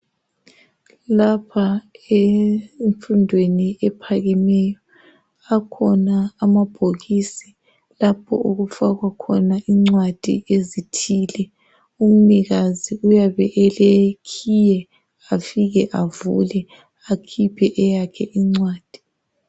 Lapha emfundweni ephakemeyo, akhona amabhokisi lapho okufakwa khona incwadi ezithile. Umnikazi uyabe elekhiye, afike avule akhiphe eyakhe incwadi.